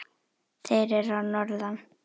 Þeir eru að norðan.